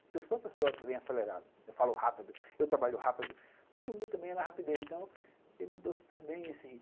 Porque eu sou uma pessoa bem acelerada, eu falo rápido, eu trabalho rápido, tudo meu também é na rapidez, então eu me dou super bem nesse ritmo.